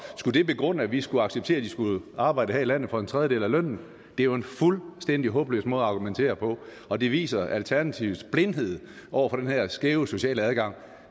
skulle det begrunde at vi skulle acceptere at de skulle arbejde her i landet for en tredjedel af lønnen det er jo en fuldstændig håbløs måde at argumentere på og det viser alternativets blindhed over for den her skæve sociale adgang